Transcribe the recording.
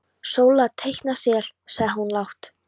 Sóla teikna sel, sagði hún lágt.